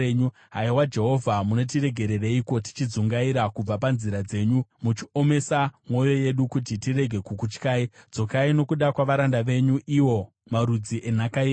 Haiwa Jehovha, munotiregereiko tichidzungaira, kubva panzira dzenyu muchiomesa mwoyo yedu kuti tirege kukutyai? Dzokai nokuda kwavaranda venyu, iwo marudzi enhaka yenyu.